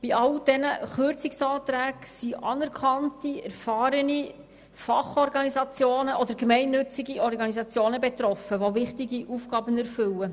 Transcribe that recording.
Von all diesen Kürzungsanträgen sind anerkannte, erfahrene Fach- oder gemeinnützige Organisationen betroffen, die wichtige Aufgaben erfüllen.